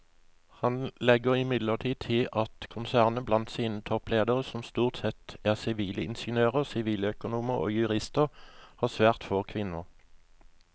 Han legger imidlertid til at konsernet blant sine toppledere som stort sette er sivilingeniører, siviløkonomer og jurister har svært få kvinner.